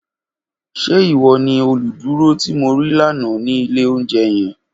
Ṣe iwọ ni oluduro ti mo rii lana ni ile ounjẹ yẹn?